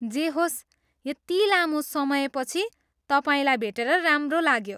जे होस्, यति लामो समयपछि तपाईँलाई भेटेर राम्रो लाग्यो।